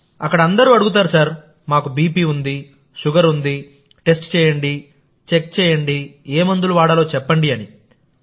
అక్కడ అందరూ అడుగుతారుమాకు బీపీ ఉంది షుగర్ ఉంది టెస్ట్ చేయండిచెక్ చేయండి మందు చెప్పండి అని